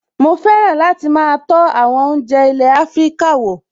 Mo fẹ́ràn láti máa tọ́ àwọn oúnjẹ ilé Afíríkà wò